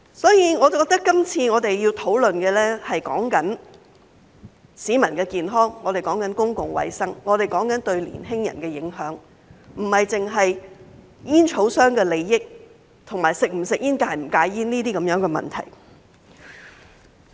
因此，我認為我們今次要討論的，是市民的健康、是公共衞生，以及對年輕人的影響，而不只是煙草商的利益，以及是否吸煙或戒煙等問題。